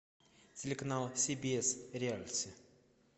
телеканал си би эс реалити